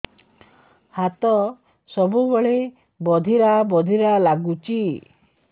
ହାତ ସବୁବେଳେ ବଧିରା ବଧିରା ଲାଗୁଚି